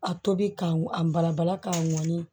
A tobi ka ŋ a bala bala k'a ŋɔni